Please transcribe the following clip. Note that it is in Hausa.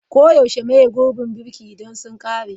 Koyaushe maye gurbin birki idan sun ƙare.